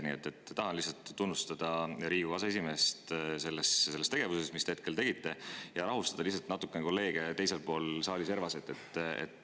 Nii et tahan tunnustada Riigikogu aseesimeest praeguse tegevuse eest ja rahustada lihtsalt natukene kolleege teises saali servas.